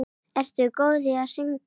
Ertu góð í að syngja?